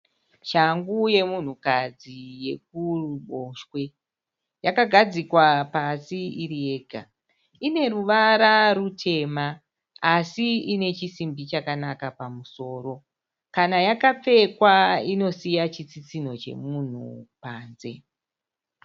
Shangu yemunhukadzi yekuruboshwe. Yakagadzikwa pasi iri yega. Ineruvara rutema asi inechisimbi chakanaka pamusoro. Kana yakapfeka inosiya chitsitsinho chemunhu panze.